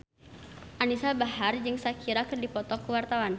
Anisa Bahar jeung Shakira keur dipoto ku wartawan